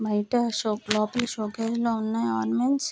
బయట షాపు లోపల షోకేస్ లో ఉన్నాయి ఆర్మెంట్స్ .